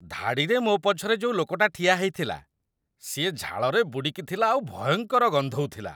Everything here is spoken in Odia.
ଧାଡ଼ିରେ ମୋ ପଛରେ ଯୋଉ ଲୋକଟା ଠିଆ ହେଇଥିଲା, ସିଏ ଝାଳରେ ବୁଡ଼ିକି ଥିଲା ଆଉ ଭୟଙ୍କର ଗନ୍ଧଉଥିଲା ।